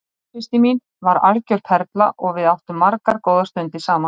Móðursystir mín var algjör perla og við áttum margar góðar stundir saman.